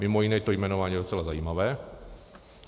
Mimo jiné, to jmenování je docela zajímavé.